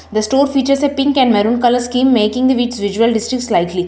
The store features a pink and maroon colour scheme making the wheat visual distance slightly.